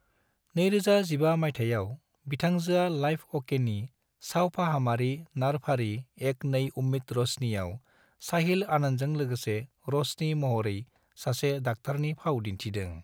2015 मायथाइयाव, बिथां‍जोआ लाइफ अकेनि सावफाहामारि नारफारि एक नई उम्मीद - र'शनी आव साहिल आनंदजों लोगोसे र'शनी महरै सासे दाक्टारनि फाव दिन्थिदों।